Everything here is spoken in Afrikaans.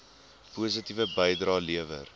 positiewe bydrae lewer